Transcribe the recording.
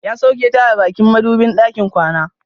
Ya soke ta a bakin madubin ɗakin kwana.